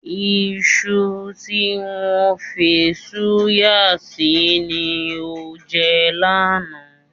Iṣu tí wọ́n fi ṣúgà sí ni o jẹ lánàá.